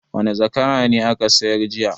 Wane zakara ne aka sayar jiya?